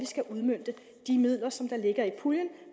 skal udmønte de midler som der ligger i puljen